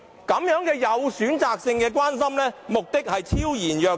如此有選擇性的關心，目的昭然若揭。